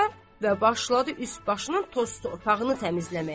Və başladı üst başının toz torpağını təmizləməyə.